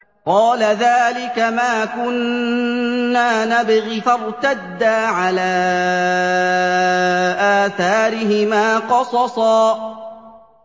قَالَ ذَٰلِكَ مَا كُنَّا نَبْغِ ۚ فَارْتَدَّا عَلَىٰ آثَارِهِمَا قَصَصًا